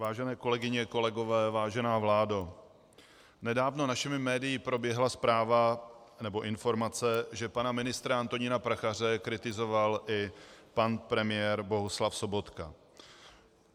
Vážené kolegyně, kolegové, vážená vládo, nedávno našimi médii proběhla zpráva nebo informace, že pana ministra Antonína Prachaře kritizoval i pan premiér Bohuslav Sobotka.